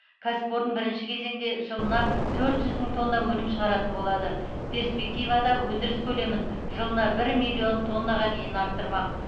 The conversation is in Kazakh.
кәсіпорын бірінші кезеңде жылына төрт жүз мың тонна өнім шығаратын болады перспективада өндіріс көлемін жылына бір миллион тоннаға дейін арттырмақ